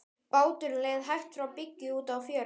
Báturinn leið hægt frá bryggju út á fjörð.